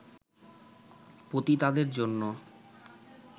পতিতাদের জন্য